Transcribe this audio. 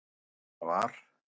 Þess vegna var